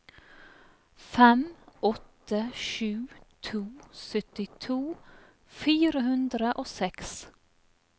fem åtte sju to syttito fire hundre og seks